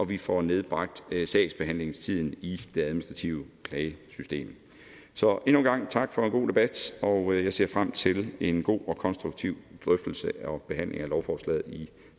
vi får nedbragt sagsbehandlingstiden i det administrative klagesystem så endnu en gang tak for en god debat og jeg ser frem til en god og konstruktiv drøftelse og behandling af lovforslaget i